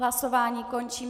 Hlasování končím.